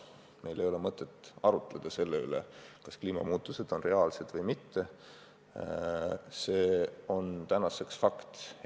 Meil ei ole mõtet arutleda, kas kliimamuutused on reaalsed või mitte, see on fakt.